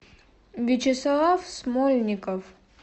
вячеслав смольников